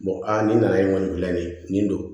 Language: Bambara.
a nin nana nin bila nin ye nin don